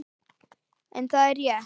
En það er rétt.